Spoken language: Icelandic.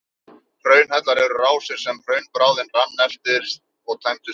Hraunhellar eru rásir sem hraunbráðin rann eftir og tæmdust síðan.